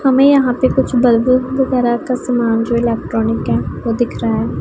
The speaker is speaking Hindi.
हमें यहां पे कुछ बल्ब वगैरह का सामान जो इलेक्ट्रॉनिक है वो दिख रहा है।